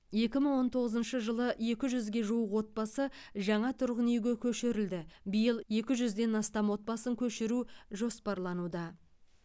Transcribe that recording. екі мың он тоғызыншы жылы екі жүзге жуық отбасы жаңа тұрғын үйге көшірілді биыл екі жүзден астам отбасын көшіру жоспарлануда